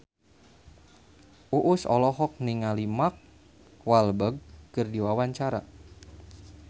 Uus olohok ningali Mark Walberg keur diwawancara